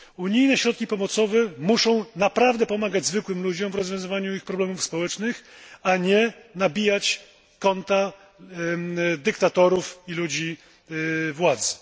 Unijne środki pomocowe muszą naprawdę pomagać zwykłym ludziom w rozwiązywaniu problemów społecznych, a nie wzbogacać konta dyktatorów i ludzi władzy.